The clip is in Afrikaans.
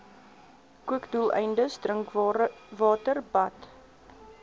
kookdoeleindes drinkwater bad